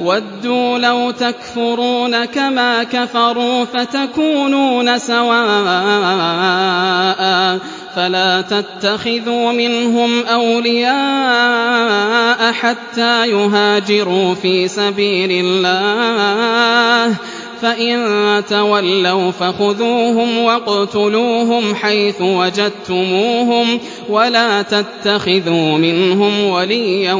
وَدُّوا لَوْ تَكْفُرُونَ كَمَا كَفَرُوا فَتَكُونُونَ سَوَاءً ۖ فَلَا تَتَّخِذُوا مِنْهُمْ أَوْلِيَاءَ حَتَّىٰ يُهَاجِرُوا فِي سَبِيلِ اللَّهِ ۚ فَإِن تَوَلَّوْا فَخُذُوهُمْ وَاقْتُلُوهُمْ حَيْثُ وَجَدتُّمُوهُمْ ۖ وَلَا تَتَّخِذُوا مِنْهُمْ وَلِيًّا